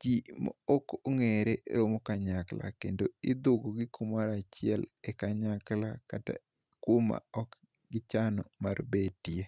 Ji maok ong'ere romo kanyakla kendo idhugogi kamoro achiel e kanyakla kata kuma ok gichano mar betie.